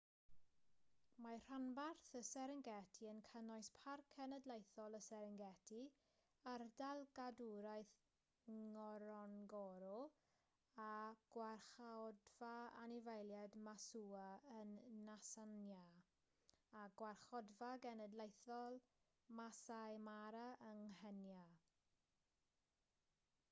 mae rhanbarth y serengeti yn cynnwys parc cenedlaethol y serengeti ardal gadwraeth ngorongoro a gwarchodfa anifeiliaid maswa yn nhansanïa a gwarchodfa genedlaethol maasai mara yng nghenia